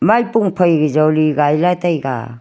maipo phai joli gai lai taega.